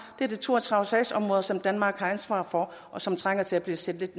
det er to og tredive sagsområder som danmark har ansvaret for og som trænger til at blive set lidt